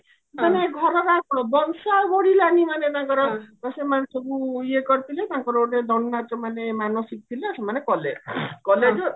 ମାନେ ଘରର ଆଉ କଣ ବଂଶ ଆଉ ବଢିଲାନି ମାନେ ତାଙ୍କର ଆଟ ସେମାନେ ସବୁ ଇଏ କରିଥିଲେ ତାଙ୍କର ଗୋଟେ ଦଣ୍ଡ ନାଚ ମାନେ ମାନସିକ ଥିଲା ସେମାନେ କଲେ କାଲେ ଯୋଉ